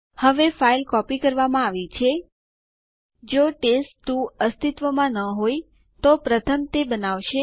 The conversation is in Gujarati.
હવે ચાલો જાણીએ કે કેવી રીતે ન્યૂ યુઝર બનાવવું